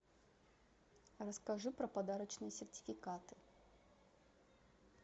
расскажи про подарочные сертификаты